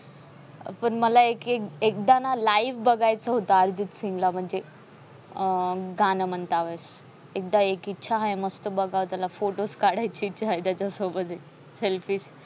पण मला एक एक एकदा ना live बघायचा होत अर्जित सिंग ला म्हणजे. अं गाणं म्हणतानी एकदा एक इच्छा हाय. मस्त बघाव त्याला photos काढायची इच्छा हाय त्याच्यासोबत. selfie